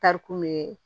Tari kun be